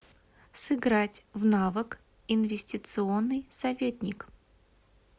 сыграть в навык инвестиционный советник